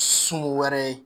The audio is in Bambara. Sugu wɛrɛ ye